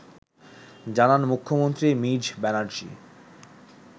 জানান মুখ্যমন্ত্রী মিজ ব্যানার্জী